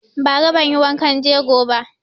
Ba ra banyi wankan jego ba